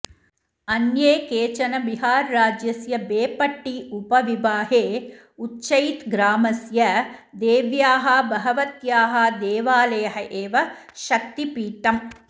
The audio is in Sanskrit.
अन्ये केचन बिहार्राज्यस्य बेपट्टी उपविभागे उच्चैत् ग्रामस्य देव्याः भगवत्याः देवालयः एव शक्तिपीठम्